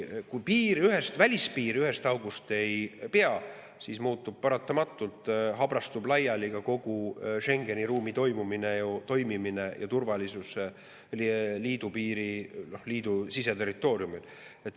Kui välispiir ühest august ei pea, siis paratamatult habrastub kogu Schengeni ruumi toimimine ja turvalisus liidu siseterritooriumil.